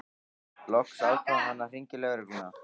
Loks ákvað hann að hringja í lögregluna.